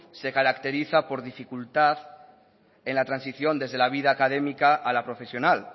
se caracteriza por la dificultad en la transición desde la vida académica a la profesional